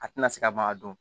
A tɛna se ka maga don